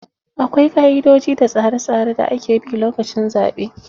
Akwai ƙa"idoji da tsare tsare da ake bi lokacin zaɓe.